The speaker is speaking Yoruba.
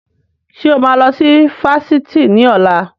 Ṣé o máa lọ sí Fáṣítì ni ọ̀la?